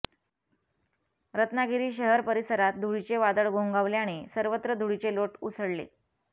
रत्नागिरी शहर परिसरात धुळीचे वादळ घोंघावल्याने सर्वत्र धुळीचे लोट उसळले